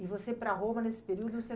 E você, para Roma, nesse período você